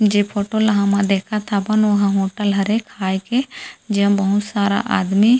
जे फोटो ल हमन देखत हबोन ओहा होटल हरे खाए के जेमा बहुत सारा आदमी--